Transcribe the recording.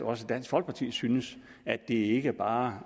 også dansk folkeparti synes at det ikke bare